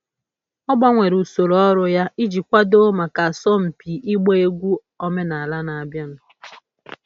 Ọ gbanwere usoro ọrụ ya iji kwadoo maka asọmpi ịgba egwu omenala na-abịanụ.